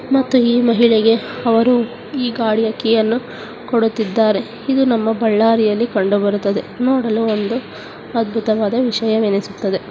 ಮತ್ತು ಈ ಮಹಿಳೆಗೆ ಅವರು ಈ ಗಾಡಿಯ ಕೀಯನ್ನು ಕೊಡುತ್ತಿದ್ದಾರೆ ಇದು ನಮ್ಮ ಬಳ್ಳಾರಿಯಲ್ಲಿ ಕಂಡು ಬರುತ್ತದೆ ನೋಡಲು ಒಂದು ಅದ್ಭುತವಾದ ವಿಷಯವೆನಿಸುತ್ತದೆ.